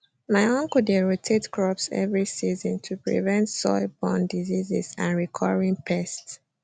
my uncle dey rotate crops every season to prevent soilborne diseases and recurring pests